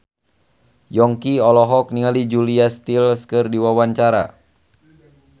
Yongki olohok ningali Julia Stiles keur diwawancara